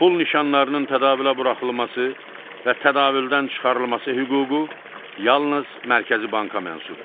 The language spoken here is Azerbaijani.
Pul nişanlarının tədavülə buraxılması və tədavüldən çıxarılması hüququ yalnız Mərkəzi Banka məxsusdur.